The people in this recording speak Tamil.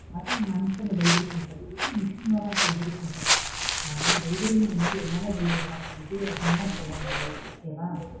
அது மனுசங்க delivery பண்றது இது machine மூலமா delivery பண்றது. அதுனால delivery ங்கும்போது எல்லாமே delivery தான் இது அதுலாம் சொல்ல முடியாது okay வா.